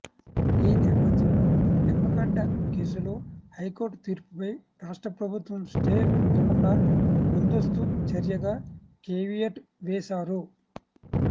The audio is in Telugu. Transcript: ఈ నేపథ్యంలో నిమ్మగడ్డ కేసులో హైకోర్టు తీర్పుపై రాష్ట్ర ప్రభుత్వం స్టే పొందకుండా ముందస్తు చర్యగా కేవియట్ వేశారు